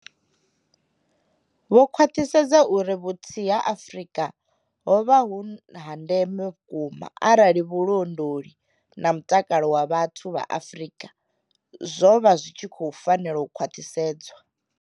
Vho khwaṱhisedza uri vhuthihi ha Afrika ho vha vhu ha ndeme vhukuma arali vhu londoli na mutakalo wa vhathu vha Afrika zwo vha zwi tshi khou fanela u khwaṱhisedzwa.